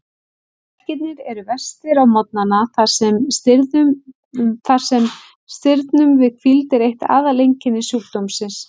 Verkirnir eru verstir á morgnana þar sem stirðnun við hvíld er eitt aðaleinkenni sjúkdómsins.